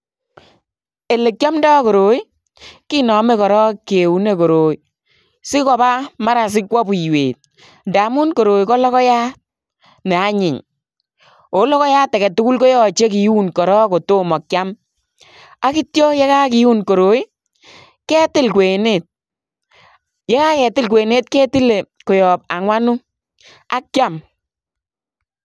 Elekiomdo koroi kinome korong kiunee sikobaa maran sikwo buiwet ndamun koroi kologoiyat neanyin oo logoyat aketugul kotoche kiun korong kotomo kiam ak ition yekokiun koroi ketil kwenet yekaketil kwenet ketile koyob angwanu ak kiam.